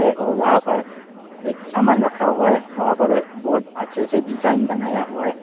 और वहां पर एक समान रखा हुआ है वहां पर बहोत अच्छे से डिजाइन बनाया हुआ है।